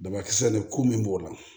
Dabakisɛ nin ko min b'o la